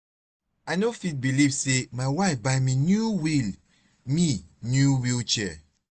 i no fit believe say my wife buy me new wheel me new wheel chair